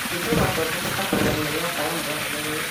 Gũthĩnjwo gwa tombo gũtabanagio nĩ ataramu athuranĩre